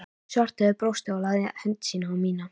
Svarthöfði brosti og lagði hönd sína á mína